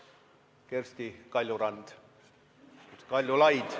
Kersti Kaljurand – vabandust!